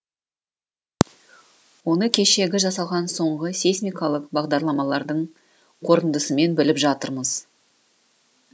оны кешегі жасалған соңғы сейсмикалық бағдарламалардың қорытындысымен біліп жатырмыз